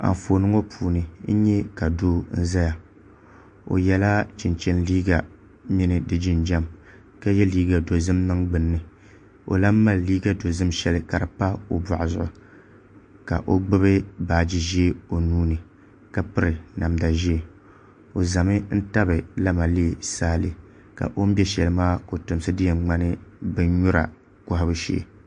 Anfooni ŋo puuni n nyɛ ka doo n ʒɛya o yɛla chinchin liiga mini di jinjɛm ka yɛ liiga dozim niŋ gbunni o lahi mali liiga dozim shɛli ka di pa o boɣu zuɣu ka o gbubi baaji ʒiɛ o nuuni ka piri namda ʒiɛ o ʒɛmi n tabi lamalee saale ka o ni ʒɛ shɛli maa kotomsi di yɛn ŋmani bindira kohabu shee